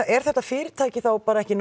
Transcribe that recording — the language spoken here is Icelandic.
er þetta fyrirtæki þá ekki